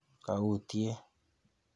Kaautyee.